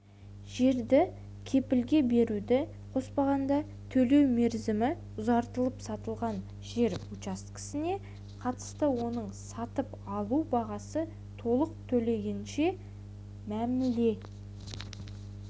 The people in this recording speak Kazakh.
жерді кепілге беруді қоспағанда төлеу мерзімі ұзартылып сатылған жер учаскесіне қатысты оның сатып алу бағасы толық төленгенше мәміле